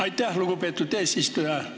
Aitäh, lugupeetud eesistuja!